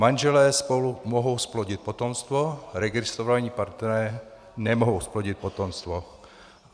Manželé spolu mohou zplodit potomstvo, registrovaní partneři nemohou zplodit potomstvo.